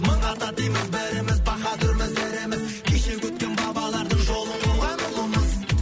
мың ата дейміз біріміз баһадүрміз іріміз кеше өткен бабалардың жолын қуған ұлымыз